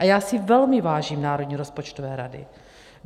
A já si velmi vážím Národní rozpočtové rady.